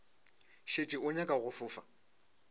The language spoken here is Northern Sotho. šetše o nyaka go fofa